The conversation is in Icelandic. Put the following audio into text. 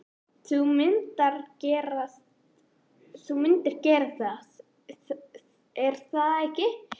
Þú myndir gera það, er það ekki?